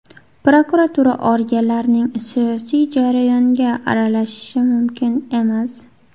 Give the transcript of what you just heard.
Prokuratura organlarining siyosiy jarayonga aralashishi mumkin emas.